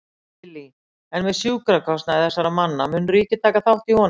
Lillý: En með sjúkrakostnað þessara manna, mun ríkið taka þátt í honum?